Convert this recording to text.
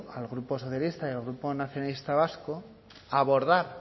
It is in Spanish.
al grupo socialista y al grupo nacionalista vasco a abordar